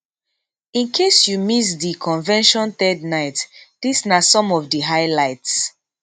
in case you miss di convention third night dis na some of di highlights